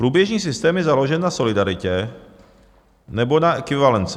Průběžný systém je založen na solidaritě nebo na ekvivalenci.